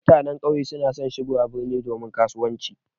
Mutanen ƙauye na son shigowa birni domin kasuwanci.